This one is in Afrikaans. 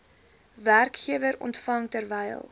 werkgewer ontvang terwyl